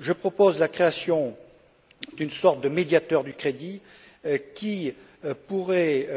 Je propose la création d'une sorte de médiateur du crédit, qui pourrait,